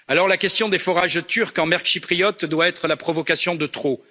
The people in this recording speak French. La question des forages turcs en mer chypriote doit donc être la provocation de trop.